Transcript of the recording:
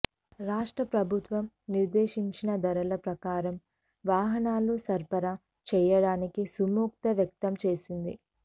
రాష్ట్ర ప్రభుత్వం నిర్దేశించిన ధరల ప్రకారం వాహనాలు సరఫరా చేయడానికి సుముఖత వ్యక్తంచేసింది